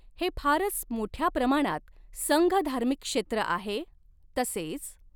हे फारच मोठ्या प्रमाणात संघधार्मिक क्षेत्र आहे तसेच